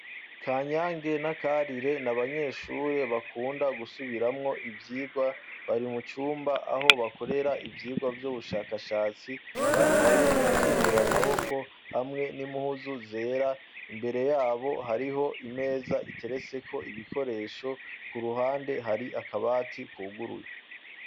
Ka nyange n'akarire ni abanyeshure bakunda gusubiramwo ivyirwa bari mucumba aho bakorera ivyirwa vy'ubushakashatsi bambaye ibikingira amaboko hamwe n'imphuzu zera imbere yabo hariho imeza iteretseko ibikoresho ku ruhande hari akabati wuguruye.